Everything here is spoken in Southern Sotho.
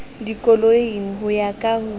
dikoloing ho ya ka ho